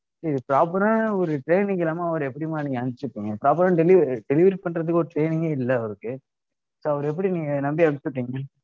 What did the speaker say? proper ஆ ஒரு training இல்லாம அவர எப்படிம்மா நீங்க அனுப்ச்சி விட்டீங்க? proper ஆன delivery~ delivery பண்றதுக்கு ஒரு training ஏ இல்ல அவருக்கு. so அவர எப்படி நீங்க நம்பி அனுப்ச்சி விட்டீங்க?